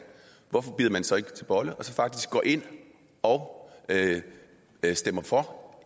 hvorfor bider man så ikke til bolle og faktisk går ind og stemmer for